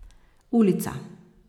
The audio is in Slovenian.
Ulica.